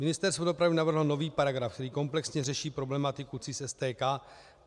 Ministerstvo dopravy navrhlo nový paragraf, který kompletně řeší problematiku CIS STK.